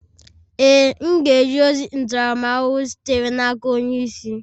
Ee, m ga-eje ozi ntaramahụhụ sitere n'aka onye isi.